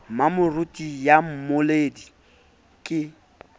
le mmamoruti ya mmoledi ke